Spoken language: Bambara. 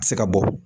Se ka bɔ